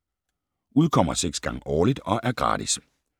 Udkommer 6 gange årligt og er gratis.